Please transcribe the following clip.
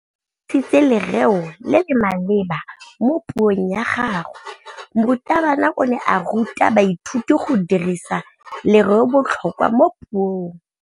O dirisitse lerêo le le maleba mo puông ya gagwe. Morutabana o ne a ruta baithuti go dirisa lêrêôbotlhôkwa mo puong.